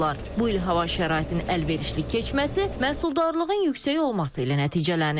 Bu il hava şəraitinin əlverişli keçməsi məhsuldarlığın yüksək olması ilə nəticələnib.